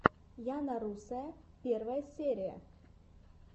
яна русая первая серия